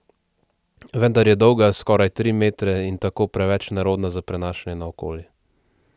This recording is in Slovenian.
Vendar je dolga skoraj tri metre in tako preveč nerodna za prenašanje naokoli.